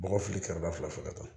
Bɔgɔ fili kɛrɛda fila fɔ ka taa